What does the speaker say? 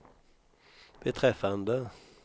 beträffande